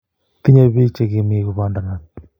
Tinye bik che kimii kopandanat